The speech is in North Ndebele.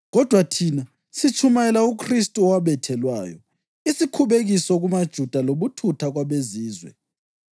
kodwa thina sitshumayela uKhristu owabethelwayo: isikhubekiso kumaJuda lobuthutha kwabeZizwe,